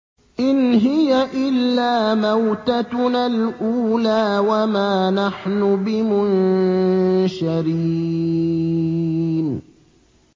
إِنْ هِيَ إِلَّا مَوْتَتُنَا الْأُولَىٰ وَمَا نَحْنُ بِمُنشَرِينَ